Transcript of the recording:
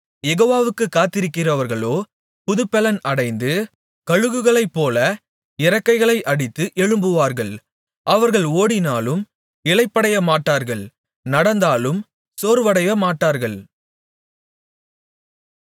யெகோவாவுக்குக் காத்திருக்கிறவர்களோ புதுப்பெலன் அடைந்து கழுகுகளைப்போலச் இறக்கைகளை அடித்து எழும்புவார்கள் அவர்கள் ஓடினாலும் இளைப்படையமாட்டார்கள் நடந்தாலும் சோர்வடையமாட்டார்கள்